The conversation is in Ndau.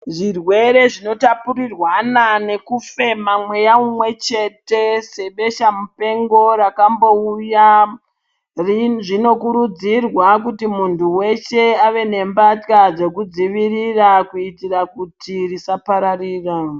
Zvirwere zvinotapurirwana nekufema mweya umwechete sebesha mupengo rakambouya. Zvinokurudzirwa kuti muntu weshe ave nembatya dzekudzivirira kuitira kuti risapararira.